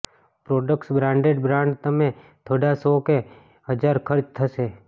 products branded brand તમે થોડા સો કે હજાર ખર્ચ થશે